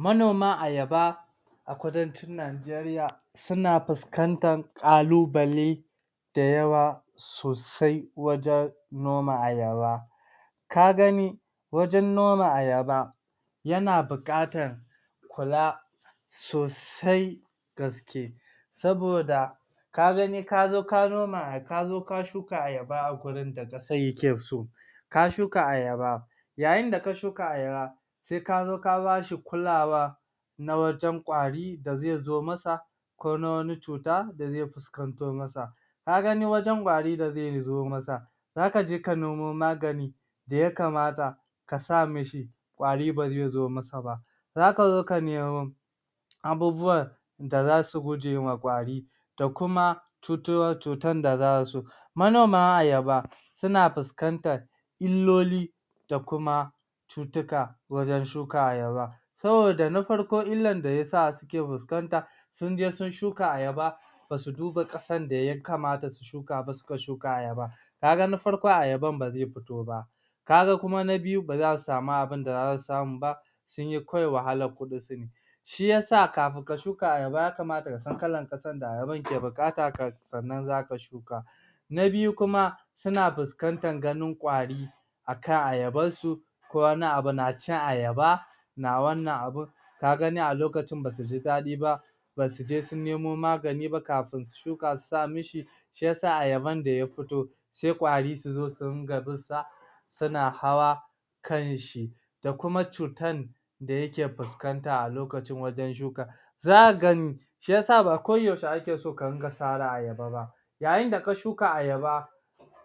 Manoma Ayaba a kudancin Najeriya suna fuskantan kalubale da yawa sosai wajan noma Ayaba ka gani wajan noma Ayaba yana buƙatan kula sosai gaske saboda ka gani kazo ka noma ka shuka Ayaba a gurin da ƙasan yake so ka shuka Ayaba yayin da ka shuka Ayaba sai kazo ka bashi kulawa na wajan kwari da zai zo masa ko na wani cuta da zai fuskanto masa ka gani wajan kwari da zai zo masa zaka je ka nemo magani da ya kamata kasa mishi kwari bazai zo masa ba zaka zo ka nemo abubuwan da zasu gujewa kwari da kuma cutan cutar da zasu manoma Ayaba suna fuskantan illoli da kuma cutuka wajan shuka Ayaba saboda na farko illan da yasa suke fuskanta sunje sun shuka Ayaba basu duba ƙasan da ya kamata su shuka ba suka shuka Ayaba kaga na farko Ayaban bazai futo ba kaga kuma na biyu ba zasu samu abunda za su samu ba sunyi kawai wahalar kudin su ne shiyasa kafin ka shuka Ayaba ya kamata kasan kalan ƙasan da Ayaban ke buƙata kafin sannan zaka shuka na biyu kuma suna fuskantar ganin kwari akan Ayabar su ko wani abu na cin Ayaba na wannan abun ka gani a lokacin basuji daɗi ba basu je sun nemo magani ba kafin shuka su sa mishi shiyasa ayaban da ya fito sai kwari suzo su rinka binsa suna hawa kanshi da kuma cutan da yake fuskanta a lokacin wajan shuka za'a gani shiyasa ba ko yaushe ake so ka ringa sare Ayaba ba yayin da ka shuka Ayaba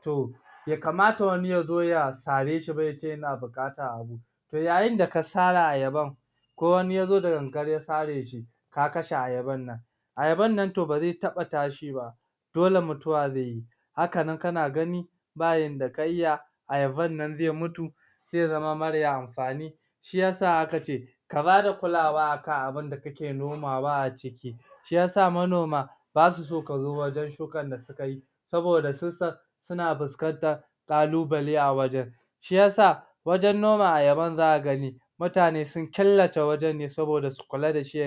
to bai kamata wani yazo ya sare shi ba, yace yana buƙata abu to yayin da ka sare Ayaban ko wani yazo da gangan ya sare shi ka kashe Ayaban nan Ayaban nan to bazai taɓa tashi ba dole mutuwa zaiyi haka nan kana gani ba yanda yadda ka iya Ayaban nan zai mutu zai zama mara amfani shiyasa aka ce ka bada kulawa akan abun da kake nomawa a ciki shiyasa manoma basu so kazo wajan shukan da sukai saboda sun san suna fuskantan kalubale a wajan shiyasa wajan noma ayaban zaka gani mutani sun killata wajan ne saboda su kula da shi